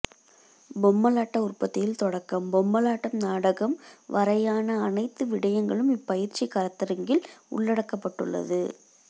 பொம்மலாட்ட உற்பத்தியில் தொடக்கம் மொம்மலாட்டம் நாடகம் வரையான அனைத்து விடயங்களும் இப்பயிற்சிக் கருத்தரங்கில் உள்ளடக்கப்பட்டுள்ளது